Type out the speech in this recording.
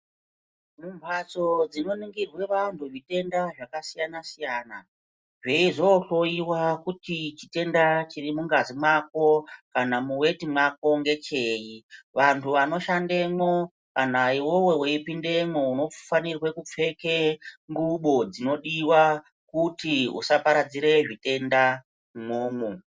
Mumhatso dzinoningirwe vantu zvitenda zvakasiyana siyana zveizonohloyiwawe kuti chitenda chiri mungazi mwako kana muweti mwako ngechei vantu vanoshandemwo kana iwewe weipindemwo unofanirwe kupfeke xubo dzinodiwa futi usaparadzire zvitenda umwomwo.